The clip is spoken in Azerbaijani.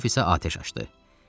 Rokov isə atəş açdı.